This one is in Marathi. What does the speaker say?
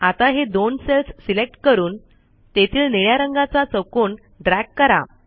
आता हे दोन सेल्स सिलेक्ट करून तेथील निळ्या रंगाचा चौकोन ड्रॅग करा